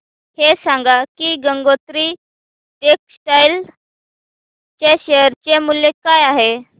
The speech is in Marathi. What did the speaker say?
हे सांगा की गंगोत्री टेक्स्टाइल च्या शेअर चे मूल्य काय आहे